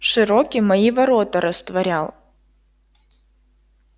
широки мои ворота растворял